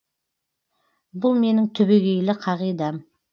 бұл менің түбегейлі қағидам